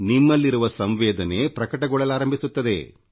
ನಿಮ್ಮಲ್ಲಿರುವ ಸಂವೇದನೆ ಪ್ರಕಟಗೊಳ್ಳಲಾರಂಭಿಸುತ್ತದೆ